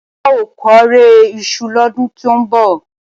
A óò kórè iṣu lọ́dún tó ń bọ̀.